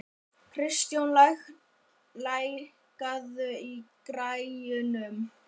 Kristjón, lækkaðu í græjunum.